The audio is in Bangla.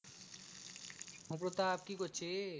কি করছিস?